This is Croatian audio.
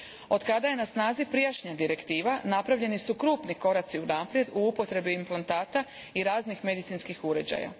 Otkada je na snazi prijašnja direktiva, napravljeni su krupni koraci unaprijed u upotrebi implantata i raznih medicinskih uređaja.